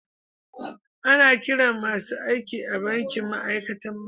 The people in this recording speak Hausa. Ana kiran masun aiki a'banki ma'aikatan banki.